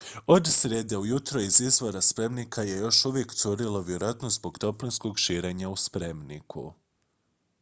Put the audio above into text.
od srijede ujutro iz otvora spremnika je još uvijek curilo vjerojatno zbog toplinskog širenja u spremniku